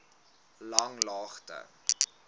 langlaagte